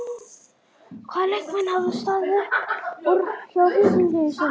Hvaða leikmenn hafa staðið upp úr hjá Víkingi í sumar?